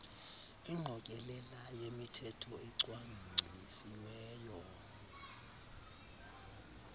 ingqokelela yemithetho ecwangcisiweyo